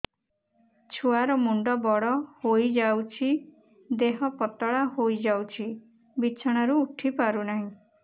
ଛୁଆ ର ମୁଣ୍ଡ ବଡ ହୋଇଯାଉଛି ଦେହ ପତଳା ହୋଇଯାଉଛି ବିଛଣାରୁ ଉଠି ପାରୁନାହିଁ